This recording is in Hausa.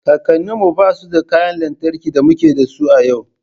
Kakanninmu ba su da kayan lantarki da muke da su a yau